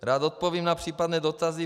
Rád odpovím na případné dotazy.